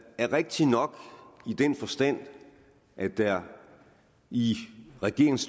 er rigtigt nok i den forstand at der i regeringens